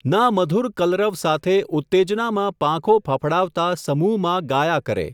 ના મધૂર કલરવ સાથે ઉત્તેજનામાં પાંખો ફફડાવતા સમૂહમાં ગાયા કરે.